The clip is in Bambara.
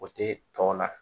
O tɛ tɔ la